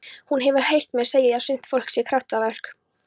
Hún hefur heyrt mig segja að sumt fólk sé kraftaverk.